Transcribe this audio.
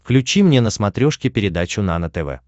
включи мне на смотрешке передачу нано тв